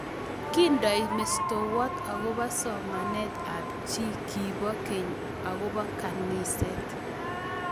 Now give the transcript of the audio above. Kindoi mestowot akobo somanet ab chi kibo geny akobo kaniset